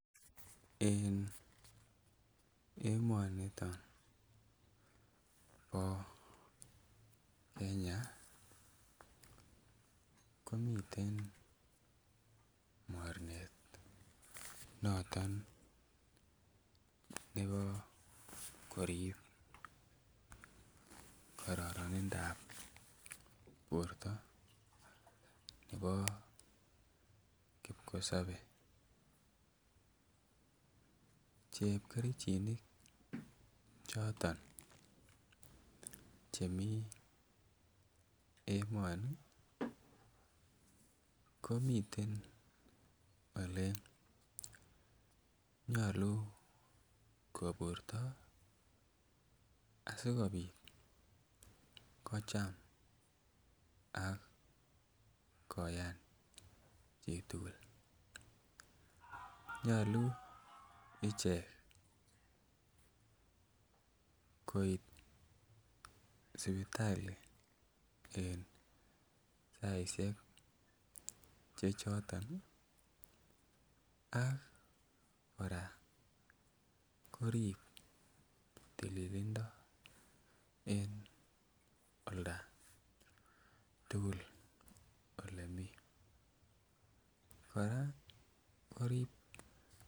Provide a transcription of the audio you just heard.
En emoniton bo Kenya komiten mornet noton nebo korib kororonindap borto nebo kipkosobe, chepkerichinik choton chemii emoni ko miten ole nyoluu koburto asikopit kocham ak koyam chitugul. Nyoluu ichek koit sipitali en saishek che choton ak koraa korib tililindo en old tugul ole mii koraa korib